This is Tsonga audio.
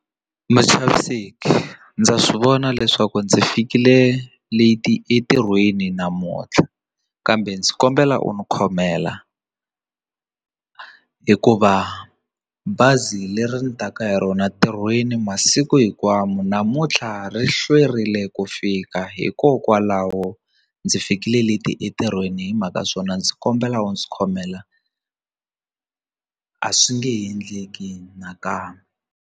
Muchaviseki ndza swivona leswaku ndzi fikile leti entirhweni namuntlha kambe ndzi kombela u ndzi khomela hikuva bazi leri ni taka hi rona ntirhweni masiku hinkwawo namuntlha ri hlwerile ku fika hikokwalaho ndzi fikile leti entirhweni hi mhaka swona ndzi kombela u ndzi khomela a swi nge endleki nakambe.